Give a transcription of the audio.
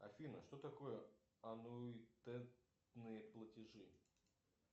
афина что такое аннуитетные платежи